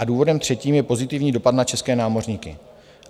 A důvodem třetím je pozitivní dopad na české námořníky.